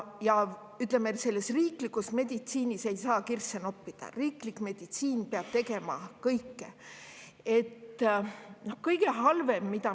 Ütleme, riiklikus meditsiinis ei saa kirsse noppida, riiklik meditsiin peab tegema kõike.